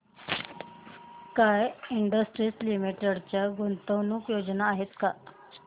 sky Industries Limited च्या गुंतवणूक योजना आहेत का